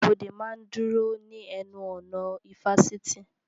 Aṣọ́bọdè máa ń dúró ní ẹnu ọ̀nà ifásitì